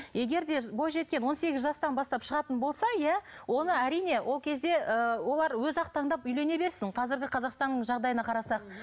егер де бойжеткен он сегіз жастан бастап шығатын болса иә оны әрине ол кезде ыыы олар өзі ақ таңдап үйрене берсін қазіргі қазақстанның жағдайына қарасақ